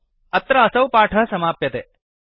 अत्र असौ पाठः समाप्यते